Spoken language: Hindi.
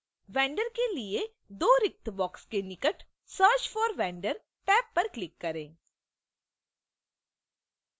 vendor के लिए दो रिक्त boxes के निकट search for vendor टैब पर click करें